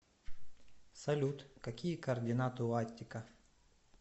салют какие координаты у аттика